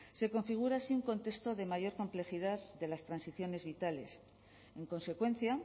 se configura así un contexto de mayor complejidad de las transiciones vitales en consecuencia